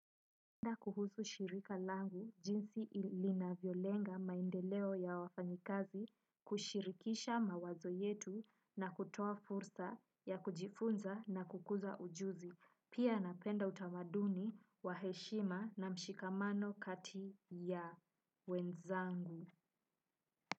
Pia kuhusu shirika langu jinsi linavyolenga maendeleo ya wafanyikazi kushirikisha mawazo yetu na kutoa fursa ya kujifunza na kukuza ujuzi. Pia napenda utamaduni wa heshima na mshikamano kati ya wenzangu.